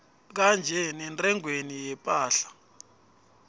kanye nentengweni yephahla